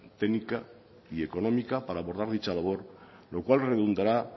técnica y económica para abordar dicha labor lo cual redundará